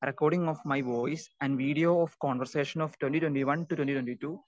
speaker 2 recording of my voice and video of conversation of twenty twenty one two twenty twenty two